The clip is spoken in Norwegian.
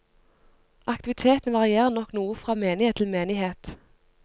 Aktivitetene varierer nok noe fra menighet til menighet.